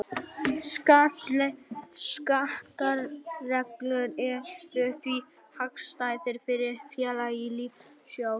Skattareglurnar eru því hagstæðar fyrir félaga í lífeyrissjóðum.